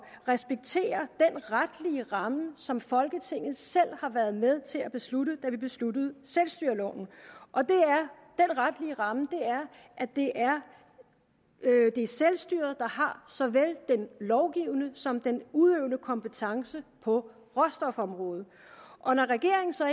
respektere den retlige ramme som folketinget selv har været med til at beslutte da vi besluttede selvstyreloven og den retlige ramme er at det er er selvstyret der har såvel den lovgivende som den udøvende kompetence på råstofområdet og når regeringen så